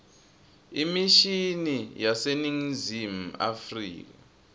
imishini yaseningizimu afrika